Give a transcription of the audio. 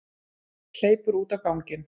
Hleypur út á ganginn.